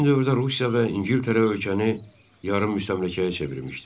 Həmin dövrdə Rusiya və İngiltərə ölkəni yarım müstəmləkəyə çevirmişdi.